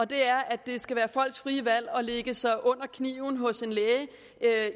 det er at det skal være folks frie valg at lægge sig under kniven hos en læge